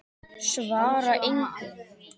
Svara engu.